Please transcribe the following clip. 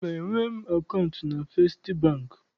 Mba, enweghị m akaụntụ na Festị Bankị.